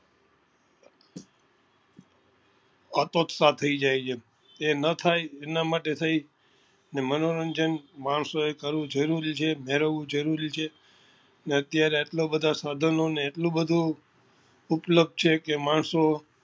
અતોત્સાહ થઇ જાય છે એ નાં થાય એના માટે થઇ ને મનોરંજન માણસો એ કરવું જરૂરી છે મેળવવું જરૂરી છે ને અત્યારે એટલા બધા સાધનો ને એટલું બધું ઉપલબ્ધ છે કે માણસો